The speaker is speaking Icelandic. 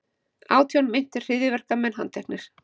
Átján meintir hryðjuverkamenn handteknir